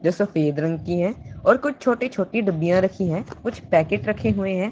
जो सफेद रंग की है और कुछ छोटी छोटी डबियां रखी है कुछ पैकेट रखे हुए हैं।